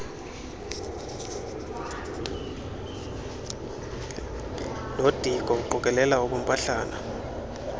nodiko uqokelela ubumpahlana